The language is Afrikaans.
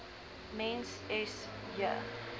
mens s j